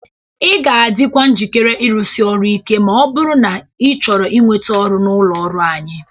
Ị ga-adịkwa njikere ịrụsị ọrụ Ike ma ọ bụrụ na ị chọrọ inweta ọrụ n'ụlọ ọrụ anyịị